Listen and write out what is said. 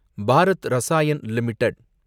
Bharat Rasayan limited